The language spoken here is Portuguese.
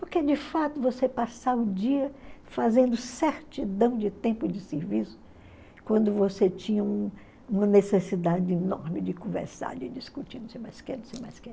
Porque, de fato, você passar o dia fazendo certidão de tempo de serviço, quando você tinha uma necessidade enorme de conversar, de discutir, não sei mais o que, não sei mais o que.